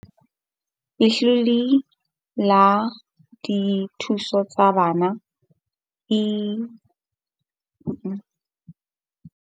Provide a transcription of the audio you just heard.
Letlole la dithuso tsa bana le ile la thakgolwa ke mmuso ho fana ka tshehetso ya ditjhelete ho bana ba.